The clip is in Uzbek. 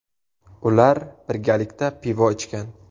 Ular birgalikda pivo ichgan.